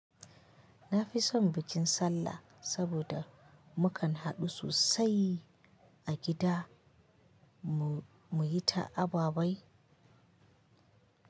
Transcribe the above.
Na fi son bikin sallah, saboda mu kan haɗu sosai a gida mu yi ta ababai.